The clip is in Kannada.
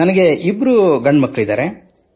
ನನಗೆ ಇಬ್ಬರು ಗಂಡುಮಕ್ಕಳಿದ್ದಾರೆ